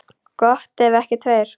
Gott ef ekki tveir.